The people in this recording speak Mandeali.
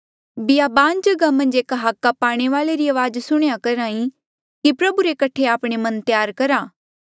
बियाबान जगहा मन्झ एक हाका पाणे वाले री अवाज सुणह्या करहा ई कि प्रभु रे कठे आपणे मन त्यार करा